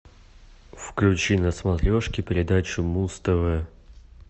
включи на смотрешке передачу муз тв